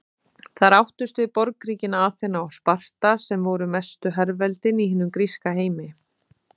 Þar áttust við borgríkin Aþena og Sparta sem voru mestu herveldin í hinum gríska heimi.